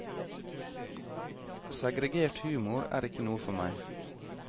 Segregert humor er ikke noe for meg.